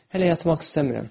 Hələ yatmaq istəmirəm.